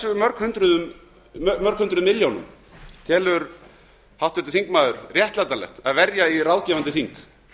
eru mörg hundruð milljónum telur háttvirtur þingmaður réttlætanlegt að verja í ráðgefandi þing